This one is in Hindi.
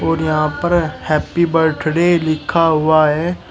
और यहां पर हैप्पी बर्थडे लिखा हुआ है।